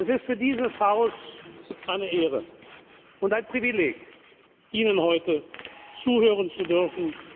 sind. Es ist für dieses Haus eine Ehre und ein Privileg, Ihnen heute zuhören zu